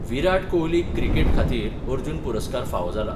विराट कोहलीक क्रिकेट खातीर अर्जुन पुरस्कार फावो जाला.